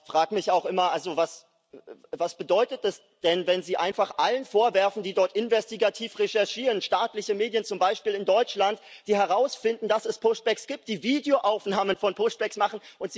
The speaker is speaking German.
Aber ich frage mich auch immer, was bedeutet es denn, wenn Sie einfach allen vorwerfen, die dort investigativ recherchieren, staatliche Medien zum Beispiel in Deutschland, die herausfinden, dass es gibt, die Videoaufnahmen von machen